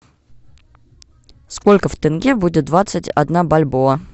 сколько в тенге будет двадцать одна бальбоа